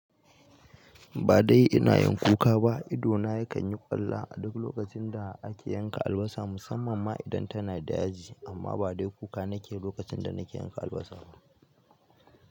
Ba dai ina yin kuka ba, idona yakan yi ƙwalla a duk lokacin da ake yanka albasa musamman ma idan tana da yaji amma ba dai kuka nake yi lokacin da nake yanka albasa ba.